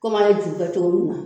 Komi an ye ju kɛ cogo minna